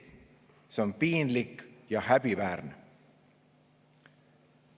See on piinlik ja häbiväärne.